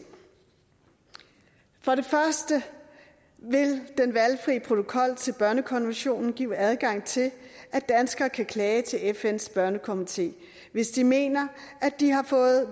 for det første vil den valgfri protokol til børnekonventionen give adgang til at danskere kan klage til fns børnekomité hvis de mener at de har fået